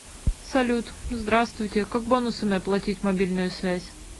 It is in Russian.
салют здраствуйте как бонусами оплатить мобильную связь